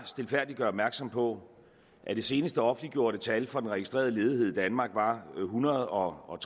stilfærdigt gøre opmærksom på at det seneste offentliggjorte tal for den registrerede ledighed i danmark var ethundrede og